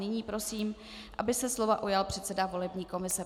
Nyní prosím, aby se slova ujal předseda volební komise.